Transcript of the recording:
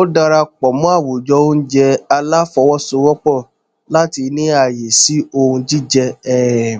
ó darapọ mọ àwùjọ oúnjẹ aláfọwọsowọpọ láti ní ààyè sí ohun jíjẹ um